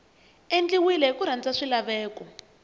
endliwile hi ku landza swilaveko